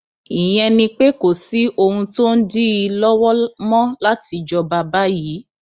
ìyẹn ni pé kò sí ohun tó ń dí i lọwọ mọ láti jọba báyìí